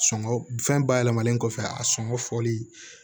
Sɔngɔ fɛn bayɛlɛmalen kɔfɛ a sɔngɔ fɔli